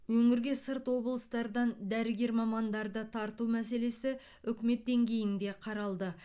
өңірге сырт облыстардан дәрігер мамандарды тарту мәселесі үкімет деңгейінде қаралды